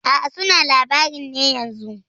A'a suna labarin ne yanzun.